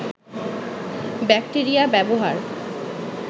bacteria ব্যবহার